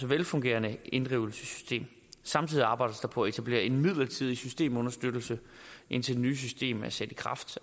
velfungerende inddrivelsessystem samtidig arbejdes der på at etablere en midlertidig systemunderstøttelse indtil det nye system er sat i kraft